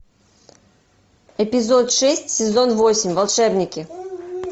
эпизод шесть сезон восемь волшебники